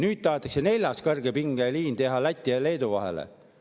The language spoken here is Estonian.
Nüüd tahetakse teha neljas kõrgepingeliin Läti ja Leedu vahele.